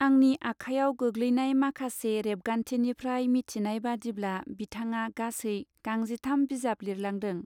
आंनि आखाइयाव गोग्लैनाय माखासे रेबगान्थि निफ्राय मिथिनाय बादिब्ला बिथाङा गासै गांजिथाम बिजाब लिरलांदों.